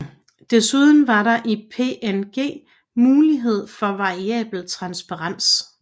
Desuden er der i PNG mulighed for variabel transparens